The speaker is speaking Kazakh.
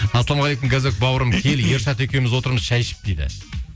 ассалаумағалейкум ғазок бауырым кел ершат екеуміз отырмыз шәй ішіп дейді